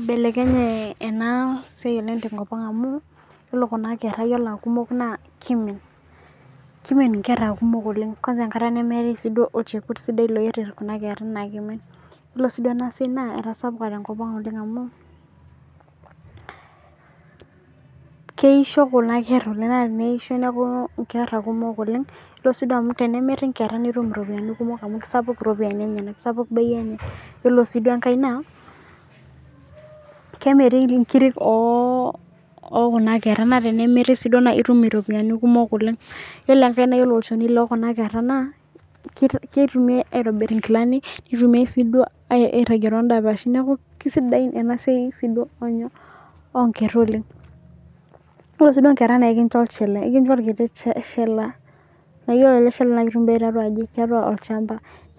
ibelekenye ena siai oleng tenkopang' amu iyiolo kuna kera naa kimin nisulaki enkata nemeetae olchekut sidai, ore ena siai etasapuka oleng' tenkopang' amu keisho kuna kera naateneisho netumi inkera kumok oleng' naa kemiri naa kisapuk bei enye, ore eng'ae naa kemiri inkiri naa itum iropiyiani, ore enkae kitumiyai olchoni lenye aitobirie inkilani, ore enkae naa